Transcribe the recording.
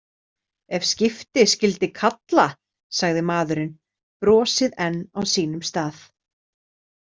Ef skipti skyldi kalla, sagði maðurinn, brosið enn á sínum stað.